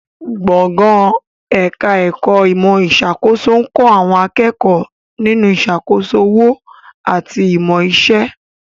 Gbọ̀ngàn ẹ̀ka ẹ̀kọ́ ìmọ̀ ìṣàkóso ń kọ́ àwọn akẹ́kọ̀ọ́ nínú ìṣàkóso òwò àti ìmọ̀ iṣẹ́